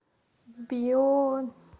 бион